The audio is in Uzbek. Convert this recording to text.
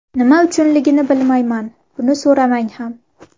Nima uchunligini bilmayman, buni so‘ramang ham.